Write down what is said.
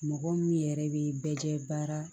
Mɔgɔ min yɛrɛ bɛ bɛɛ kɛ baara